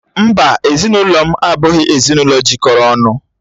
Mbá, ezinụlọ m abụghị ezinụlọ jikọrọ ọnụ.